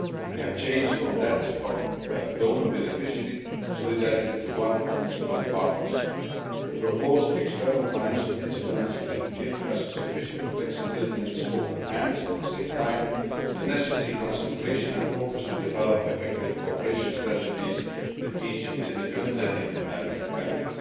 They have changed from that of donor beneficiary solidarity to one of equal partners. The proposed external financial instruments should give us sufficient flexibility and scope and, at the same time, the necessary concentration and focus to develop effective cooperation strategies with each individual Latin American country.